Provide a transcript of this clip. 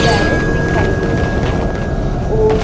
parrot दिखाई दे रहे हैं और--